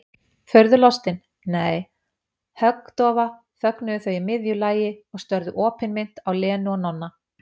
Furðulostin, nei, höggdofa þögnuðu þau í miðju lagi og störðu opinmynnt á Lenu og Nonna.